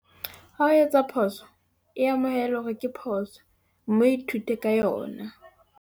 Ha o etsa phoso, e amohele hore ke phoso, mme o ithute ka yona.